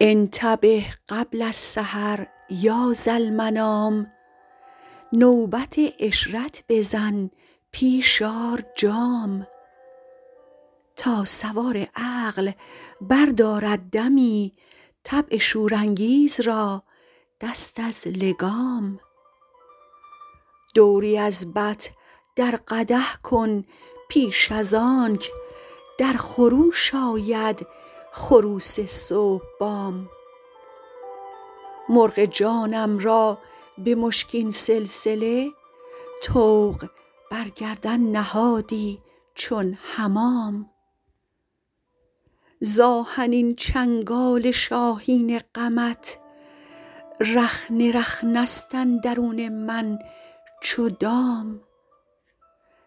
انتبه قبل السحر یا ذالمنام نوبت عشرت بزن پیش آر جام تا سوار عقل بردارد دمی طبع شورانگیز را دست از لگام دوری از بط در قدح کن پیش از آنک در خروش آید خروس صبح بام مرغ جانم را به مشکین سلسله طوق بر گردن نهادی چون حمام ز آهنین چنگال شاهین غمت رخنه رخنه ست اندرون من چو دام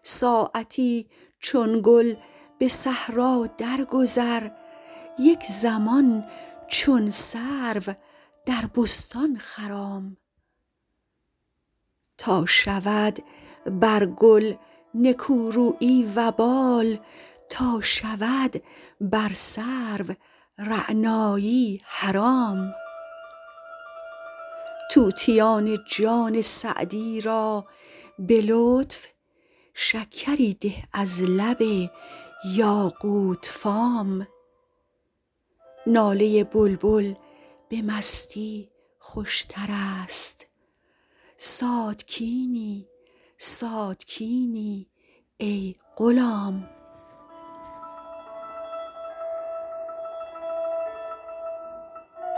ساعتی چون گل به صحرا درگذر یک زمان چون سرو در بستان خرام تا شود بر گل نکورویی وبال تا شود بر سرو رعنایی حرام طوطیان جان سعدی را به لطف شکری ده از لب یاقوت فام ناله بلبل به مستی خوشتر است ساتکینی ساتکینی ای غلام